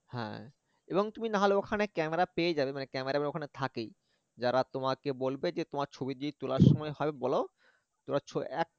হ্যা এবং তুমি নাহলে ওখানে camera পেয়ে যাবে camera ওখানে থাকেই যারা তোমাকে বলবে যে তোমার ছবি যে তোলার সময় বল তোমার ছ~ এ